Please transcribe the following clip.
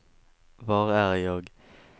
var är jag